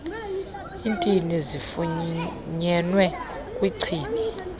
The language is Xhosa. iintini zifunyenwe kwichibi